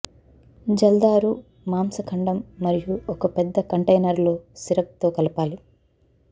జల్దారు మాంసఖండం మరియు ఒక పెద్ద కంటైనర్ లో సిరప్ తో కలపాలి